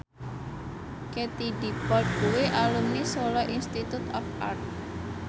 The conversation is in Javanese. Katie Dippold kuwi alumni Solo Institute of Art